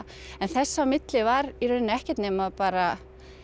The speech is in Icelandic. en þess á milli var í rauninni ekkert nema bara